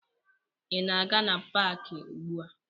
Ị na-aga na paakị ugbua?